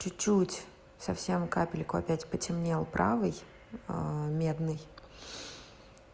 чуть-чуть совсем капельку опять потемнел правый медный